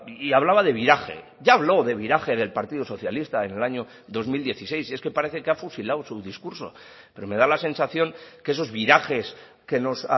y hablaba de viraje ya habló de viraje del partido socialista en el año dos mil dieciséis si es que parece que ha fusilado su discurso pero me da la sensación que esos virajes que nos